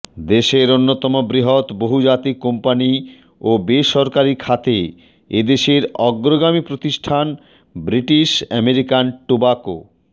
দেশের অন্যতম বৃহৎ বহুজাতিক কোম্পানি ও বেসরকারি খাতে এদেশের অগ্রগামী প্রতিষ্ঠান ব্রিটিশ আমেরিকান টোব্যাকো